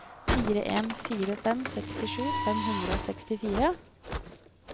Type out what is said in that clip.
fire en fire fem sekstisju fem hundre og sekstifire